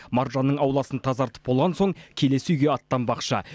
маржанның ауласын тазартып болған соң келесі үйге аттанбақшы